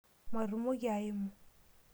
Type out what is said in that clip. Matumoki aimu.